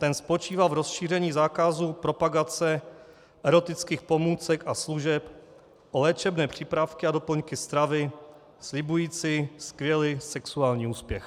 Ten spočívá v rozšíření zákazu propagace erotických pomůcek a služeb o léčebné přípravky a doplňky stravy slibující skvělý sexuální úspěch.